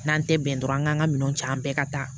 N'an tɛ bɛn dɔrɔn an k'an ka minɛn ja an bɛɛ ka taa